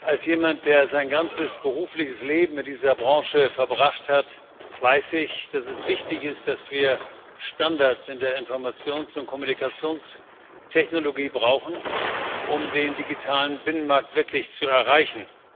Als jemand, der sein ganzes berufliches Leben in dieser Branche verbracht hat, weiß ich, dass es wichtig ist, dass wir Standards in der Informations und Kommunikationstechnologie brauchen, um den digitalen Binnenmarkt wirklich zu erreichen.